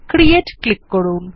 create click করুন